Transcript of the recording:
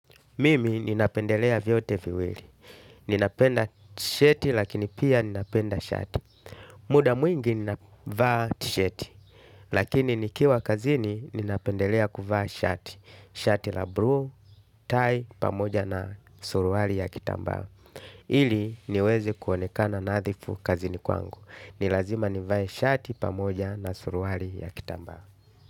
Mimi ninapendelea vyote viwili. Ninapenda tisheti lakini pia ninapenda shati. Muda mwingi ninavaa tsheti. Lakini nikiwa kazini ninapendelea kuvaa shati. Shati la blue, tie pamoja na suruari ya kitambaa. Ili niweze kuonekana nadhifu kazini kwangu. Ni lazima nivae shati pamoja na suruari ya kitambaa.